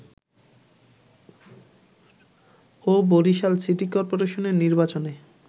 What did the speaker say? ও Barishal city কর্পোরেশনের নির্বাচনে